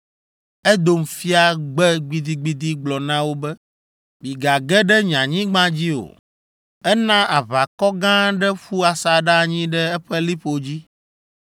Edom fia gbe gbidigbidi gblɔ na wo be, “Migage ɖe nye anyigba dzi o.” Ena aʋakɔ gã aɖe ƒu asaɖa anyi ɖe eƒe liƒo dzi.